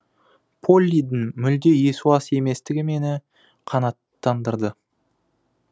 поллидің мүлде есуас еместігі мені қанаттандырды